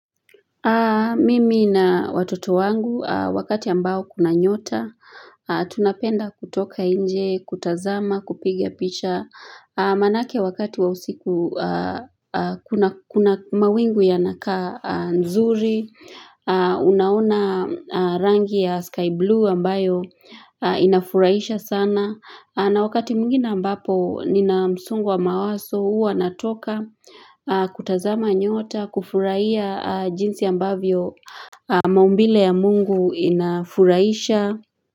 Mimi na watoto wangu wakati ambao kuna nyota, tunapenda kutoka nje kutazama kupiga picha maanake wakati wa usiku kuna mawingu yanakaa zuri unaona rangi ya sky blue ambayo inafurahisha sana na wakati mwingine ambapo nina msongo mawazo huwa natoka kutazama nyota kufurahia jinsi ambavyo maumbile ya mungu inafurahisha.